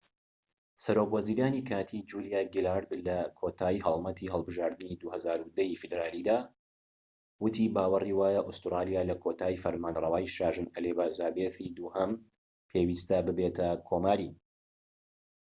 سەرۆک وەزیرانی کاتی، جولیا گیلارد لە کۆتای هەڵمەتی هەڵبژاردنی ٢٠١٠ ی فیدرالیدا وتی باوەری وایە ئوستورالیا لە کۆتایی فەرمانرەوایی شاژن ئەلیزابێسی دووهەم پێویستە ببێتە کۆماری